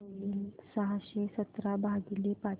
काय होईल सहाशे सतरा भागीले पाच